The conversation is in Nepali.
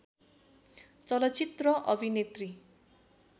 चलचित्र अभिनेत्री